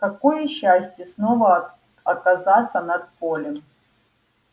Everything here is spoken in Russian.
какое счастье снова оказаться над полем